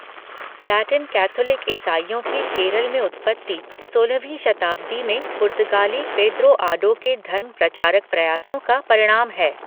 Latin Catholic ईसाइयों की केरल में उत्पत्ति सोलहवीं शताब्दी में पुर्तगाली पेदरो आडो के धर्म प्रचारक प्रयासों का परिणाम है।